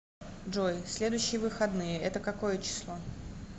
джой следующие выходные это какое число